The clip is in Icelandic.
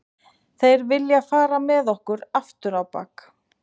Þeir vilja fara með okkur afturábak